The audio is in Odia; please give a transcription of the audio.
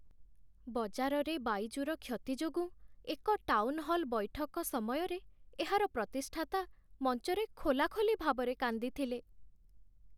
ବଜାରରେ ବାଇଜୁର କ୍ଷତି ଯୋଗୁଁ ଏକ ଟାଉନ୍‌ହଲ୍ ବୈଠକ ସମୟରେ ଏହାର ପ୍ରତିଷ୍ଠାତା ମଞ୍ଚରେ ଖୋଲାଖୋଲି ଭାବରେ କାନ୍ଦିଥିଲେ।